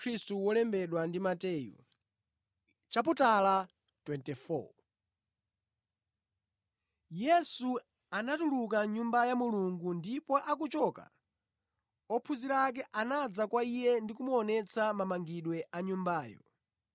Yesu anatuluka mʼNyumba ya Mulungu ndipo akuchoka ophunzira ake anadza kwa Iye ndi kumuonetsa mamangidwe a Nyumbayo.